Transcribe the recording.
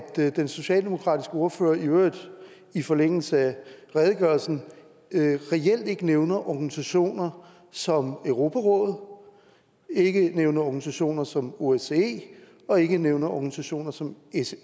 den socialdemokratiske ordfører i øvrigt i forlængelse af redegørelsen reelt ikke nævner organisationer som europarådet ikke nævner organisationer som osce og ikke nævner organisationer som